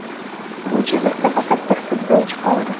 Bu chiziqda faqat bir futbolchi qoldi.